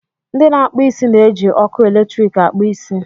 ndị na-akpụ isi na-eji ọkụ eletrik akpụ isi